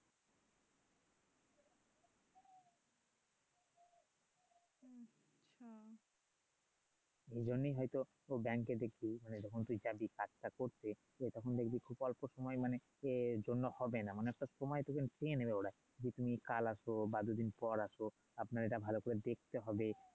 এজন্যই হয়তো দেখবি মানে যখন তু্ই যাবি কাজটা করতে ঠিক আছে তখন দেখবি খুব অল্প সময়েই মানে সেজন্য হবে না এমন একটা সময় যেন চেয়ে নেবে ওরাই যে তুমি কাল আসো বা দু দিন পর আসো আপনার এটা ভালো করে দেখতে হবে